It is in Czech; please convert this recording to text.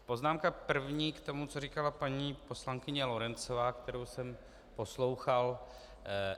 Poznámka první k tomu, co říkala paní poslankyně Lorencová, kterou jsem poslouchal.